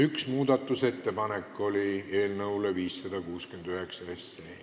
Üks muudatusettepanek oli ka.